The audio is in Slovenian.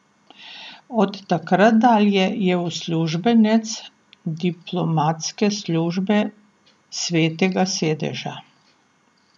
Od takrat dalje je uslužbenec diplomatske službe Svetega sedeža.